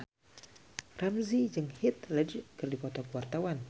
Ramzy jeung Heath Ledger keur dipoto ku wartawan